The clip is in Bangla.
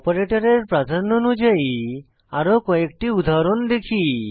অপারেটরের প্রাধান্য অনুযায়ী আরো কয়েকটি উদাহরণ দেখি